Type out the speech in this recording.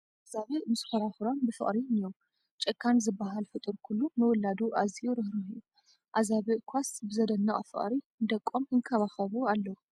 ኣዛብእ ምስ ኮራኹሮም ብፍቕሪ እኒዉ፡፡ ጨካን ዝበሃል ፍጡር ኩሉ ንውላዱ ኣዝዩ ራህራህ እዩ፡፡ ኣዘብእ ዃስ ብዘድንቕ ፍቕሪ ንደቆም ይንከባኸቡ ኣለዉ፡፡